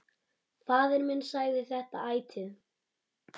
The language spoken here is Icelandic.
Faðir minn sagði þetta ætíð.